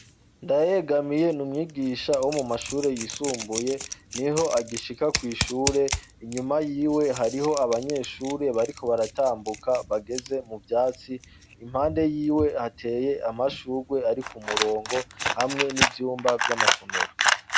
Ndayegamiye ni umwigisha wo mu mashure yisumbuye ni ho agishika kw'ishure inyuma yiwe hariho abanyeshure bariko baratambuka bageze mu vyatsi impande yiwe hateye amashurwe ari ku murongo hamwe n'ivyumba vy'amasomero.